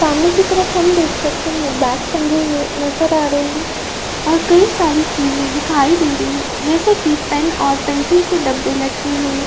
सामने की तरफ हम देख सकते हैं बैग टंगे हुए नजर आ रहे हैं और कई सारी चीजे दिखाई दे रही है जैसे कि पेन और पेंसिल के डब्बे लटके हुए।